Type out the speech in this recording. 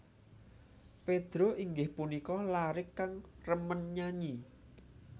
Pedro inggih punika laré kang remen nyanyi